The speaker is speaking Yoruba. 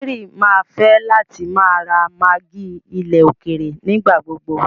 Mary mà fẹ̀ látì má ra maggi ilẹ̀ òkèèrè nígbàgbogbò.